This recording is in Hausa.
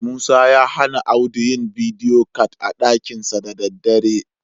Musa ya hana Audu yi bidiyo cat a ɗakinsa da daddare.